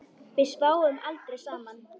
Við sváfum aldrei saman.